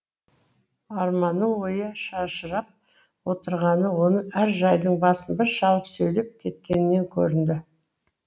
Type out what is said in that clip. арманның ойы шашырап отырғаны оның әр жайдың басын бір шалып сөйлеп кеткенінен көрінді